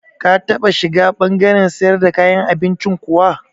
Ka taɓa shiga ɓangaren siyar da kayan abincin kuwa?